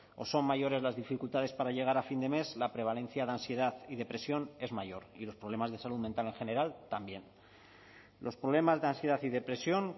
o son mayores las dificultades para llegar a fin de mes la prevalencia de ansiedad y depresión es mayor y los problemas de salud mental en general también los problemas de ansiedad y depresión